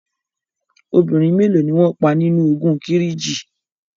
Obìnrin mélo ni wọn pa nínu ogun Kírìjí?